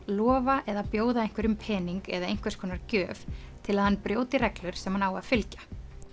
lofa eða bjóða einhverjum pening eða einhvers konar gjöf til að hann brjóti reglur sem hann á að fylgja